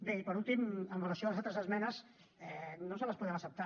bé i per últim amb relació a les altres esmenes no les podem acceptar